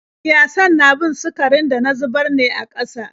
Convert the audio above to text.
Kiyasan na bin sukarin da na zubar ne a ƙasa.